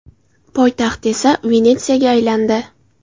Poytaxt esa Venetsiyaga aylandi .